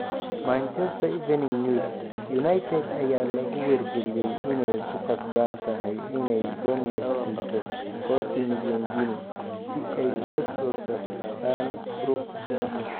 (Manchester Evening News) United ayaa lagu wargeliyay inay ku qasban tahay inay Bournemouth siiso 40 milyan ginni si ay ula soo saxiixdaan Brooks.